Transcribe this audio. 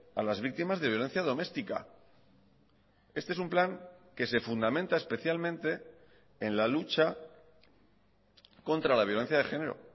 a las víctimas de violencia doméstica este es un plan que se fundamenta especialmente en la lucha contra la violencia de género